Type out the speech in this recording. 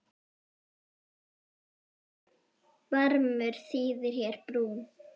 Barmur þýðir hér brún.